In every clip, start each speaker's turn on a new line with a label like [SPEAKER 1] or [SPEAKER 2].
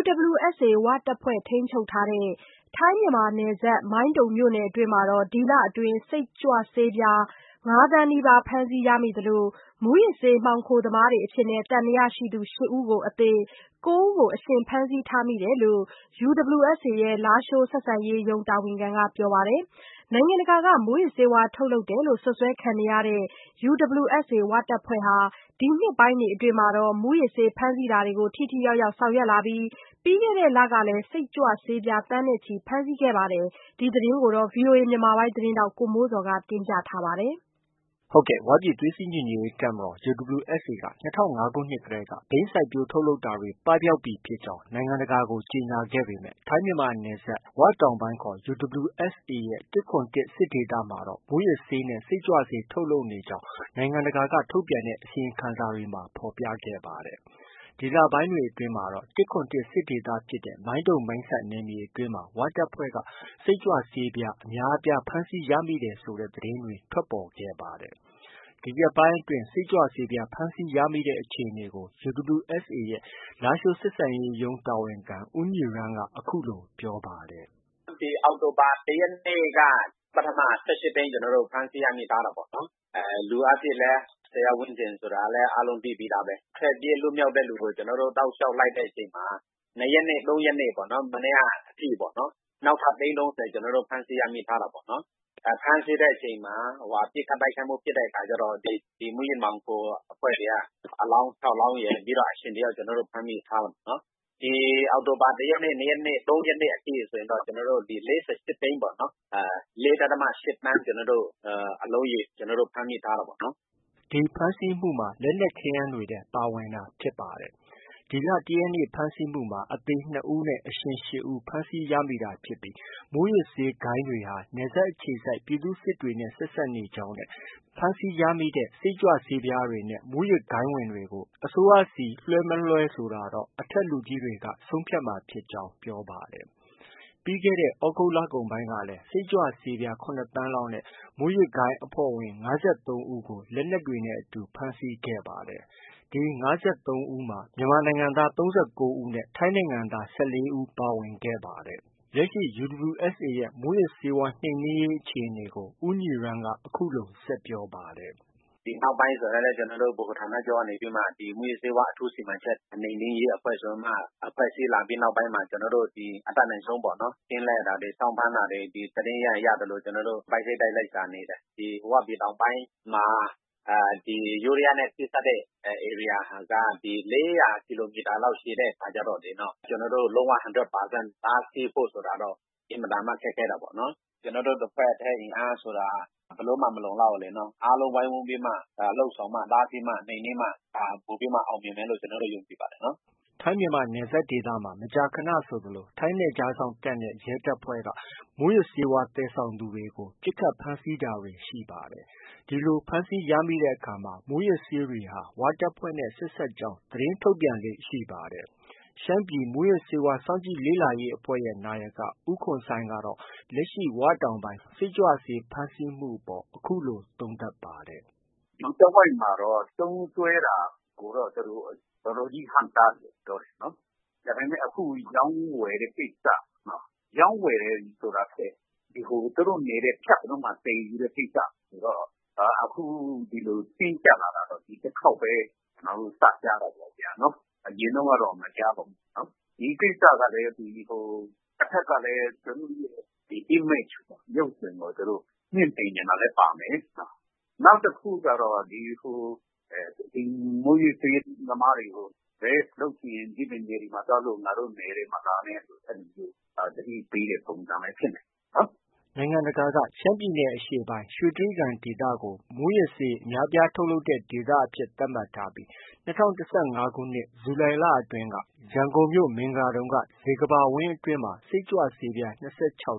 [SPEAKER 1] UWSA ဝတပ်ဖွဲ့ ထိန်းချုပ်ရာ ထိုင်း၊ မြန်မာနယ်စပ် မိုင်းတုံမြို့နယ်အတွင်းမှာ ဒီလအတွင်း စိတ်ကြွဆေးပြား ငါး သန်းနီးပါး ဖမ်းဆီးရမိသလို မူးယစ်ဆေး မှောင်ခိုသမားတွေအဖြစ် သံသယရှိသူ ရှစ် ဦးအသေနဲ့ ကိုး ဦးကို အရှင်ဖမ်းဆီးထားကြောင်း UWSA ရဲ့ လားရှိုးဆက်ဆံရေးရုံး တာဝန်ခံက ပြောပါတယ်။ နိုင်ငံတကာက မူးယစ်ဆေးဝါး ထုတ်လုပ်တယ်လို့ စွပ်စွဲခံနေရတဲ့ UWSA ဟာ ဒီနှစ်ပိုင်းတွေအတွင်းမှာ မူးယစ်ဆေး ဖမ်းဆီးတာတွေကို ထိထိရောက်ရောက် ဆောင်ရွက်လာပြီး ပြီးခဲ့တဲ့လတွေကလည်း စိတ်ကြွဆေးပြား သန်းနဲ့ချီ ဖမ်းဆီးခဲ့ပါတယ်။ ဒီသတင်းကို ဗွီအိုအေမြန်မာပိုင်းရဲ့ သတင်းထောက် ကိုမိုးဇော်က တင်ပြထားပါတယ်။ ဝပြည်သွေး စည်းညီညွတ်ရေး တပ်မတော် UWSA ဟာ ၂၀၀၅ ခုနှစ်တည်းကနေ ဘိန်း စိုက်ပျိုးထုတ်လုပ်တာတွေ ပပျောက်ပြီ ဖြစ်ကြောင်း နိုင်ငံတကာကို ကြေညာခဲ့ပေမဲ့ ထိုင်းမြန်မာနယ်စပ် ၀ တောင်ပိုင်းခေါ် UWSA ရဲ့ ၁၇၁ စစ်ဒေသမှာတော့ မူးယစ်ဆေးနဲ့ စိတ်ကြွဆေး ထုတ်လုပ်နေကြောင်း နိုင်ငံတကာက ထုတ်ပြန်တဲ့ အစီရင်ခံစာတွေမှာ ဖော်ပြခဲ့ပါတယ်။ ဒီလပိုင်းတွေအတွင်းမှာတော့ ၁၇၁ စစ်ဒေသဖြစ်တဲ့ မိုင်းတုံ၊ မိုင်းဆတ် နယ်မြေအတွင်းမှာ ဝတပ်ဖွဲ့ စိတ်ကြွဆေးပြား အများအပြားဖမ်းဆီးရမိတဲ့ သတင်းတွေ ထွက်ပေါ်လာခဲ့ပါတယ်။ ဒီရက်ပိုင်းအတွင်း စိတ်ကြွဆေးပြား ဖမ်းဆီးရမိတဲ့အခြေအနေကို UWSA ရဲ့ လားရှိုးဆက်ဆံရေးရုံးတာဝန်ခံ ဦးညီရန်းက အခုလို ပြောပါတယ်
[SPEAKER 2] ။ “အောက်တိုဘာ ၁ ရက်နေ့က ပထမ ၁၈ သိန်း ကျနော်တို့ ဖမ်းဆီးရမိထားတာပေါ့။ လူအားဖြင့်လည်း ၁၀ယောက်ဝန်းကျင်ဆိုတာ အားလုံးသိပြီးသားပဲ။ ထွက်ပြေးလွတ်မြောက်တဲ့သူကို ကျနော်တို့ တလျောက်လိုက်တဲ့အချိန်မှာ ၂ရက်နေ့၊ ၃ရက်နေ့ပေါ့နော်။ မနေ့က အထိ နောက်ထပ်သိန်း ၃၀ ကျနော်တို့ ဖမ်းဆီး ရမိထားတာပေါ့နော်။ ဖမ်းဆီးတဲ့အချိန်မှာ ပစ်ခတ်တိုက်ခိုက်မှု ဖြစ်တဲ့အခါကျတော့ ဒီမူးယစ်မှောင်ခိုအဖွဲ့တွေက အလောင်း ခြောက် လောင်းရယ်၊ ပြီးတော့ အရှင် တ ယောက်က ကျနော်တို့ ဖမ်းမိထားတယ်။ ဒီ အောက်တိုဘာ ၁ ရက်နေ့၊ ၂ ရက်နေ့၊ ၃ ရက်နေ့အထိ ဆိုရင်တော့ ၄၈ သိန်းပေါ့၊ ၄.၈သန်း အလုံးရေ ကျနော်တို့ ဖမ်းမိထားတာပေါ့။
[SPEAKER 1] ” ဖမ်းဆီးမှုမှာ လက်နက်ခဲယမ်းတွေလည်း ပါဝင်တာဖြစ်ပါတယ်။ ၁ ရက်နေ့ ဖမ်းဆီးမှုမှာ အသေ နှစ် ဦးနဲ့ အရှင် ရှစ် ဦး ဖမ်းဆီးရမိတာဖြစ်ပြီး မူးယစ်ဆေးဂိုဏ်းတွေဟာ နယ်စပ်အခြေစိုက် ပြည်သူ့စစ်အဖွဲ့တွေနဲ့ ဆက်စပ်နေကြောင်းနဲ့ ဖမ်းဆီးရမိတဲ့ စိတ်ကြွဆေးတွေနဲ့ မူးယစ်ဂိုဏ်းဝင်တွေကို အစိုးရဆီလွဲှ၊ မလွဲဆိုတာ အထက်လူကြီးတွေက ဆုံးဖြတ်မှာဖြစ်ကြောင်း ပြောပါတယ်။ ပြီးခဲ့တဲ့ သြဂုတ်လကုန်ပိုင်းကလည်း စိတ်ကြွဆေးပြား ခုနစ် သန်းလောက်နဲ့ မူးယစ်ဂိုဏ်းအဖွဲ့ဝင် ၅၃ ဦး ဖမ်းဆီးခဲ့ပါတယ်။ ဒီ ၅၃ ဦးမှာ မြန်မာနိုင်ငံသား ၃၉ ဦးနဲ့ ထိုင်းနိုင်ငံသား ၁၄ ဦးတို့ ပါဝင်ပါတယ်။ လက်ရှိ UWSA ရဲ့ မူးယစ်ဆေးဝါး နှိမ်နင်းရေးအခြေအနေကိုလည်း ဦးညီရန်းက အခုလို ဆက်ပြောပါတယ်။
[SPEAKER 2] “ဒီနောက်ပိုင်းဆိုရင်လည်း ကျနော်တို့ ဗဟိုဌာနချုပ်ကနေပြီးမှ မူးယစ်ဆေးဝါး အထူးစီမံချက်၊ နှိပ်နင်းရေးအဖွဲ့ဆို ဖွဲ့စည်းလာပြီးတဲ့နောက်ပိုင်းမှာ ကျနော်တို့ အတတ်နိုင်ဆုံးပေါ့နော် ကင်းလှည့်တာတွေ၊ စောင့်ဖမ်းတာတွေ၊ သတင်းရရင် ရသလို ပိုက်စိတ်တိုက်လ ိုက်ရှာနေတယ်။ ဒီ ဝပြည်တောင်ပိုင်းမှာ ယိုးဒယားနဲ့ ထိစပ်တဲ့ ဧရိယာက ၄၀၀ ကီလိုမီတာလောက် ရှည်တဲ့အခါကျတော့လေ ကျနော်တို့ လုံး၀ hundred percent တားဆီးဖို့ ဆိုတာက အင်မတန်မှ ခက်ခဲတာပေါ့နော်။ ကျနော်တို့ တစ်ဖွဲ့တည်း အင်အားဆိုတာက ဘယ်လိုမှ မလုံလောက်ဘူးလေနော်။ အားလုံးဝိုင်းဝန်းပြီးမှ လုပ်ဆောင်မှ၊ တားဆီးမှ၊ နှိမ်နင်းမှ ပိုပြီးမှ အောင်မြင်မယ်လို့ ကျနော်တို့ ယုံကြည်ပါတယ်နော်။
[SPEAKER 1] ” ထိုင်း၊ မြန်မာနယ်စပ်ဒေသမှာ မကြာခနဆိုသလို ထိုင်းနယ်ခြားစောင့်တပ်နဲ့ ရဲတပ်ဖွဲ့ဟာ မူးယစ်ဂိုဏ်းတွေကို ပစ်ခတ် ဖမ်းဆီးတာတွေ ရှိပါတယ်။ ဒီလို ဖမ်းဆီးရမိတဲ့အခါတွေမှာ မူးယစ်ဆေးတွေဟာ ဝတပ်ဖွဲ့နဲ့ ဆက်စပ်ကြောင်း သတင်းထုတ်ပြန်လေ့ရှိတာ ဖြစ်ပါတယ်။ ရှမ်းပြည် မူးယစ်ဆေးဝါး စောင့်ကြည့်လေ့လာရေးအဖွဲ့ရဲ့ နာယက ဦးခွန်ဆိုင်းကတော့ လက်ရှိ ၀ တောင်ပိုင်း စိတ်ကြွဆေး ဖမ်းဆီးမှုအပေါ် အခုလို သုံးသပ်ပါတယ်။
[SPEAKER 3] “ဒီတဝိုက်မှာတော့ သုံးစွဲတာကိုတော့ သူတို့ တော်တော်ကြီး ဟန့်တားတယ်လို့ ပြောတာပေါ့နော်။ ဒါပေမဲ့ အခု ရောင်း ဝယ်တဲ့ ကိစ္စ၊ ရောင်းဝယ်တယ်ဆိုတာထက် သူတို့နယ်ထဲ ဖြတ်ပြီးတော့ သယ်ယူတဲ့ ကိစ္စကိုတော့ အခုဒီလို တင်းကျပ်လာတာတော့ ဒီတစ်ခေါက်ပဲ ကျနော်တို့ စကြားတာပေါ့ဗျာနော်။ အရင်တုန်းကတော့ မကြားပါဘူးဗျာနော်။ ဒီကိစ္စကလည်း ဟို တဘက်ကလည်း image ရုပ်သွင်းကို မြှင့်တင်ချင်တာလည်း ပါမယ်။ နောက်တစ်ခုကတော့ ဒီ မူးယစ်ဆေးသမားတွေကို လုပ်ချင်ရင် ဒီပြင်နယ်တွေမှာ သွားလုပ် ငါတို့နယ်ထဲ မလာနဲ့ဆို သတိပေးတဲ့ပုံစံလည်း ဖြစ်နိုင်တယ်
[SPEAKER 1] ။” နိုင်ငံတကာက ရှမ်းပြည်နယ်အရှေ့ပိုင်း ရွှေတြိဂံဒေသကိုမူးယစ်ဆေး အများဆုံးထုတ်လုပ်တဲ့ ဒေသအဖြစ် သတ်မှတ်ထားပြီး၂၀၁၅ခုနှစ် ဇူလိုင်လအတွင်း ရန်ကုန်မြို့ မင်္ဂလာဒုံက ဇေကမ္ဘာဝင်းအတွင်း စိတ်ကြွဆေးပြား ၂၆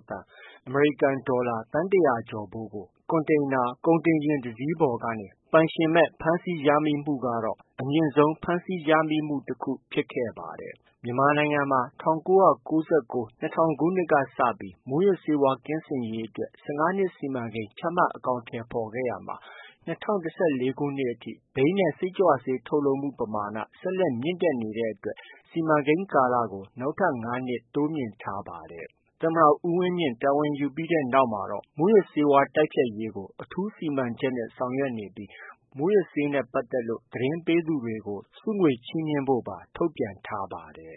[SPEAKER 1] သန်း (အမေရိကန်ဒေါ်လာ သန်း ၁၀၀ကျော်ဖိုး) ကို ကွန်တိန်နာ ကုန်တင်ယာဉ် တစီးပေါ်ကနေ ပိုင်ရှင်မဲ့ ဖမ်းဆီးမှုကတော့ အမြင့်ဆုံး ဖမ်းဆီးရမိမှု တခု ဖြစ်ခဲ့ပါတယ်။ မြန်မာနိုင်ငံ မှာ ၁၉၉၉-၂၀၀၀ ခုနှစ်ကစပြီး မူးယစ်ဆေးဝါး ကင်းစင်ရေးအတွက် ၁၅ နှစ် စီမံကိန်း ချမှတ် အကောင်အထည်ဖော်ခဲ့ရာမှာ၂၀၁၄ အထိ ဘိန်းနဲ့ စိတ်ကြွဆေး ထုတ်လုပ်မှု ပမာဏ ဆက်လက် မြင့်လာနေတဲ့အတွက် စီမံကိန်းကာလကို နောက်ထပ် ငါး နှစ် တိုးမြှင့်ထားရပါတယ်။ သမ္မတ ဦးဝင်းမြင့် တာဝန်ယူပြီးနောက်မှာတော့ မူးယစ်ဆေးဝါး တိုက်ဖျက်ရေးကို အထူးစီမံချက်နဲ့ ဆောင်ရွက်နေပြီး မူူးယစ်ဆေးနဲ့ပတ်သက်လို့ သတင်းပေးသူတွေကို ဆုငွေချီးမြှင့်ဖို့ပါ ထုတ်ပြန်ထားပါတယ်